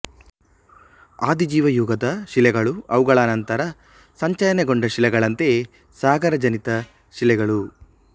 ಆದಿಜೀವಯುಗದ ಶಿಲೆಗಳು ಅವುಗಳ ಅನಂತರ ಸಂಚಯನಗೊಂಡ ಶಿಲೆಗಳಂತೆಯೇ ಸಾಗರಜನಿತ ಶಿಲೆಗಳು